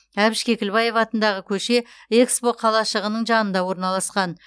әбіш кекілбаев атындағы көше экспо қалашығының жанында орналасқан